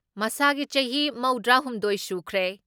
ꯃꯁꯥꯒꯤ ꯆꯍꯤ ꯃꯧꯗ꯭ꯔꯥ ꯍꯨꯝꯗꯣꯏ ꯁꯨꯈ꯭ꯔꯦ ꯫